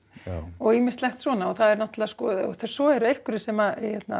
og ýmislegt svona svo eru einhverjir sem